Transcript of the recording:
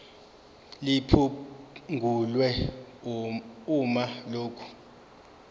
liphungulwe uma lokhu